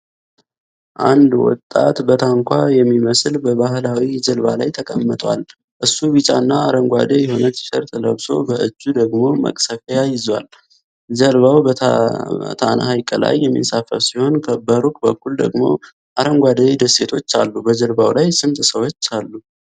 አንድ ወጣት በታንኳ የሚመስል በባህላዊ የጀልባ ላይ ተቀምጧል። እሱ ቢጫና አረንጓዴ የሆነ ቲሸርት ለብሶ በእጁ ደግሞ መቅዘፊያ ይዟል። ጀልባው በታና ሐይቅ ላይ የሚንሳፈፍ ሲሆን፣ በሩቅ በኩል ደግሞ አረንጓዴ ደሴቶች አሉ። በጀልባው ላይ ስንት ሰዎች አሉ?